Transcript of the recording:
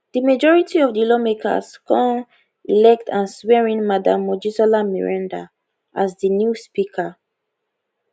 di majority of di lawmakers come elect and swear in madam mojisola meranda as di new speaker